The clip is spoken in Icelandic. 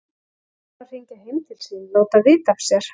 Er hún að hringja heim til sín, láta vita af sér?